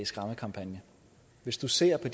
skræmmekampagne hvis du ser på